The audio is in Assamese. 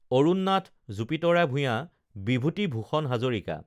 অৰুণ নাথ জুপিতৰা ভূঞা বিভূতি ভূষণ হাজৰিকা